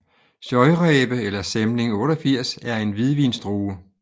Scheurebe eller Sämling 88 er en hvidvinsdrue